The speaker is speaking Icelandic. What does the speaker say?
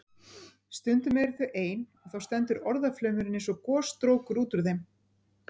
Stundum eru þau ein og þá stendur orðaflaumurinn eins og gosstrókur út úr þeim.